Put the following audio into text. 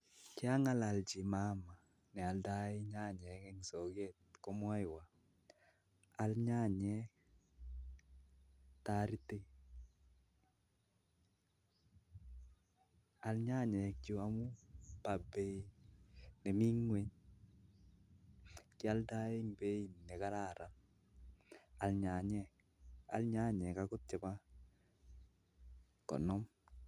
Kiangalalchi mama neoldoi nyanyek eng soket ak alenji aal nyanyek Chu amu kioldoei beit nekararan akial angot chebo konom